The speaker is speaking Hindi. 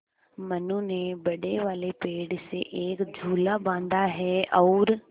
मनु ने बड़े वाले पेड़ से एक झूला बाँधा है और